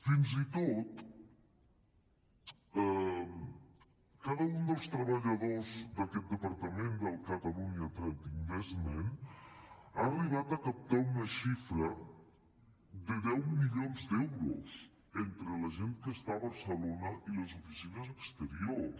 fins i tot cada un dels treballadors d’aquest departament del catalunya trade investment ha arribat a captar una xifra de deu milions d’euros entre la gent que està a barcelona i les oficines exteriors